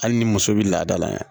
Hali ni muso bɛ laada la yan